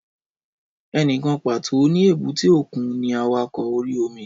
Ẹnìkan pàtó ní èbúté òkun ní awakọ̀ orí-omi